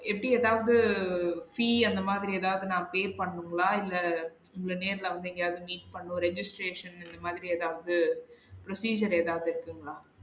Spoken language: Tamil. இப்டி எதாவது fee அந்த மாதிரி எதாவது நா pay பண்ணுங்களா? இல்ல இல்ல நேர்ல வந்து எங்கையாவது meet பண்ணும் registration இந்த மாதிரி எதாவது procedure எதாவது இருக்குங்களா?